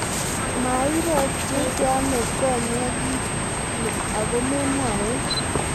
mairotiteano konye kiit ni aku memwowech?